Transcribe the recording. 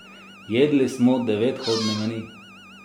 Jedli smo devethodni meni.